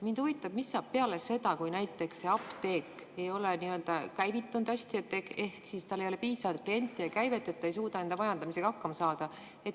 Mind huvitab, mis saab peale seda, kui näiteks see apteek ei ole hästi käivitunud ehk tal ei ole piisavalt kliente ja käivet, ta ei suuda enda majandamisega hakkama saada.